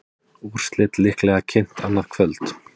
Úrslit líklega kynnt annað kvöld